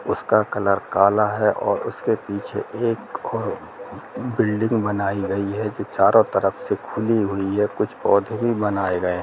उसका कलर काला है और उसके पीछे एक बिल्डिंग बनाई गई हैचारों तरफ से खुली हुई हैकुछ पौधे भी बनाए गए --